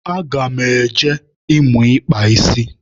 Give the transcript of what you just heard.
Aga m eje ịmụ ịkpa isi.